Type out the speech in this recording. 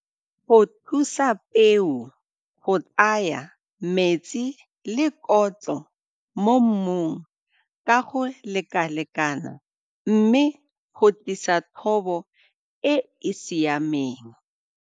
Go thusa peo go tsaya metsi le kotlo mo mmung ka go lekalekana mme go tlisa thobo e e siameng.